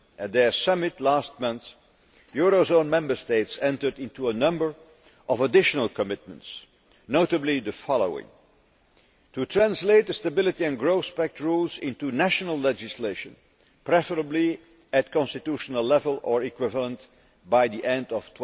At their summit last month, eurozone Member States entered into a number of additional commitments, notably the following to translate the Stability and Growth Pact rules into national legislation, preferably at constitutional level or equivalent, by the end of